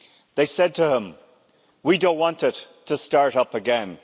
They said to him We don't want it to start up again.'